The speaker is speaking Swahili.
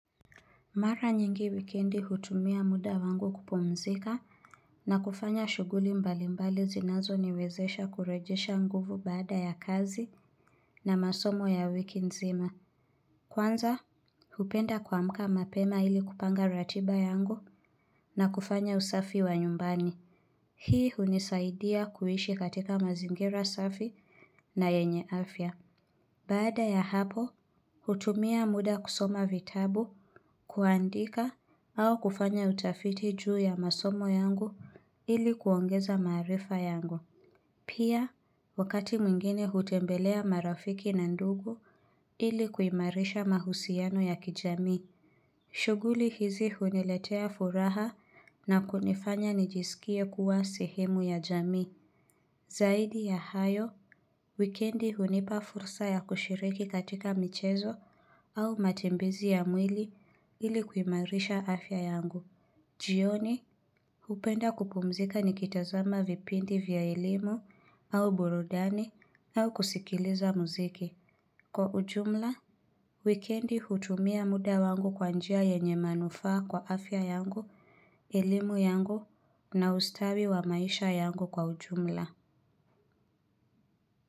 Mara nyingi wikendi hutumia muda wangu kupumzika na kufanya shughuli mbali mbali zinazo niwezesha kurejesha nguvu baada ya kazi na masomo ya wiki nzima. Kwanza, hupenda kuamka mapema ili kupanga ratiba yangu na kufanya usafi wa nyumbani. Hii hunisaidia kuishi katika mazingira safi na yenye afya. Baada ya hapo, hutumia muda kusoma vitabu, kuandika, au kufanya utafiti juu ya masomo yangu ili kuongeza maarifa yangu. Pia, wakati mwingine hutembelea marafiki na ndugu ili kuimarisha mahusiano ya kijamii. Shughuli hizi huniletea furaha na kunifanya nijisikie kuwa sehemu ya jamii. Zaidi ya hayo, wikendi hunipa fursa ya kushiriki katika michezo au matembezi ya mwili ili kuimarisha afya yangu. Jioni, hupenda kupumzika nikitazama vipindi vya elimu au burudani au kusikiliza muziki. Kwa ujumla, wikendi hutumia muda wangu kwa njia yenye manufaa kwa afya yangu, elimu yangu na ustawi wa maisha yangu kwa ujumla.